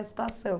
A situação.